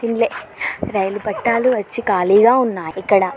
రైలు పట్టాలు వచ్చి ఖాళీగా ఉన్నాయి ఇక్కడ .